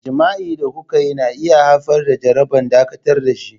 Jima'i da kuka yi na iya haifar da jaraba, dakatar da shi.